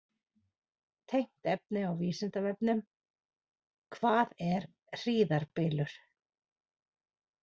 Tengt efni á Vísindavefnum: Hvað er hríðarbylur?